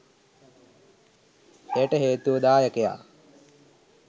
එයට හේතුව දායකයා